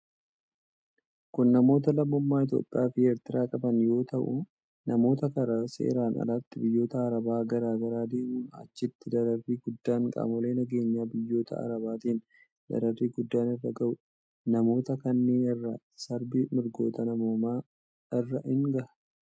Kun, namoota lammummaa Itoophiyaa fi Eertiraa qaban yoo ta'u, namoota karaa seeran alaatin biyyoota Arabaa garaa garaa deemuun achitti dararri guddaan qaamolee nageenyaa biyyoota Arabaatin dararri guddaan irra gahuu dha. Namoota kanneen irra sarbi mirgoota namoomaa irra ni gaha.